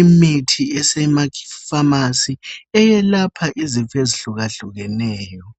imithi esemaFamasi eyalapha izifo ezihlukahlukeneyo.